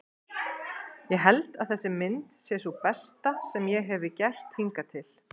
Ég held að þessi mynd sé sú besta sem ég hefi gert hingað til.